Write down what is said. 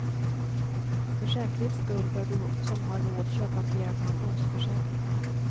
För säkerhets skull bör du som har råd köpa flera pensionsförsäkringar.